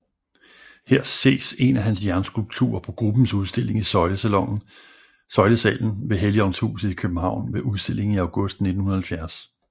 Her ses en af hans jernskulpturer på gruppens udstilling i Søjlesalen ved Helligåndshuset i København ved udstillingen i august 1970